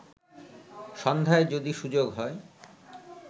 সন্ধ্যায় যদি সুযোগ হয়